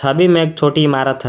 में एक छोटी इमारत है।